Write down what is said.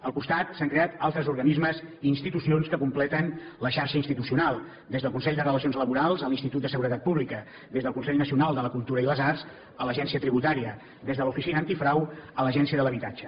al costat s’han creat altres organismes i institucions que completen la xarxa institucional des del consell de relacions laborals a l’institut de seguretat pública des del consell nacional de la cultura i les arts a l’agència tributària des de l’oficina antifrau a l’agència de l’habitatge